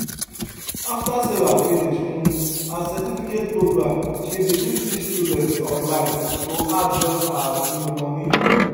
after sarah finish um her certificate program she begin teach students online to add join her um money